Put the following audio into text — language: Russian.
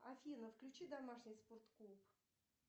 афина включи домашний спорт клуб